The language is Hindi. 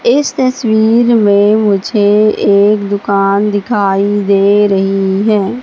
इस तस्वीर में मुझे एक दुकान दिखाई दे रही है।